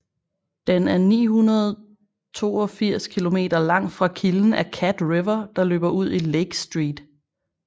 Den er 982 km lang fra kilden af Cat River der løber ud i Lake St